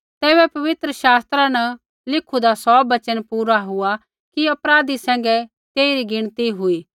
तैबै पवित्र शास्त्रा न लिखूदा सौ वचन पूरा हुआ कि अपराधी सैंघै तेइरी गिणती हुई